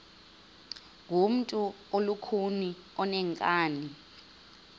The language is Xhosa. ngumntu olukhuni oneenkani